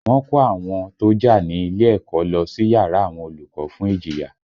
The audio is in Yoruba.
Wọ́n kó àwọn tó jà nílé ẹ̀kọ́ lọ sí yàrá àwọn olùkọ́ fún ìjìyà